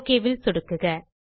okay ல் சொடுக்குக